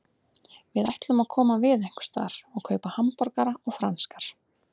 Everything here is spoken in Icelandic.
Við ætlum að koma við einhversstaðar og kaupa hamborgara og franskar.